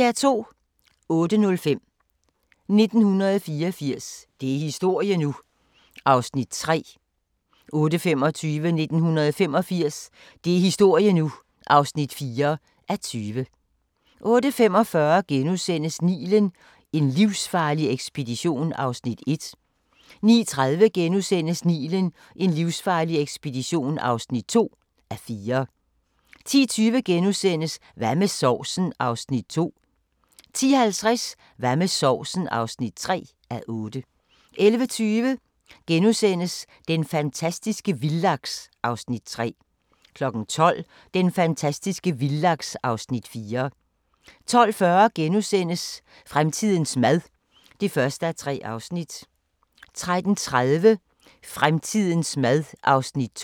08:05: 1984 – det er historie nu! (3:20) 08:25: 1985 – det er historie nu! (4:20) 08:45: Nilen: En livsfarlig ekspedition (1:4)* 09:30: Nilen: en livsfarlig ekspedition (2:4)* 10:20: Hvad med sovsen? (2:8)* 10:50: Hvad med sovsen? (3:8) 11:20: Den fantastiske vildlaks (Afs. 3)* 12:00: Den fantastiske vildlaks (Afs. 4) 12:40: Fremtidens mad (1:3)* 13:30: Fremtidens mad (2:3)